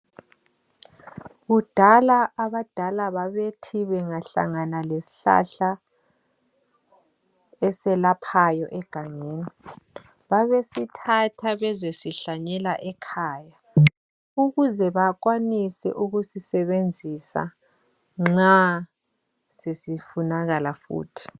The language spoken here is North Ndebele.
Kudala abadala babethi bengahlangana lesihlahla eselaphayo egangeni babesithatha bezesihlanyela ekhaya ukuze bakwanise ukusisebenzisa nxa sesifunakala futhi.